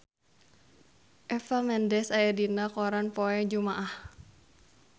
Eva Mendes aya dina koran poe Jumaah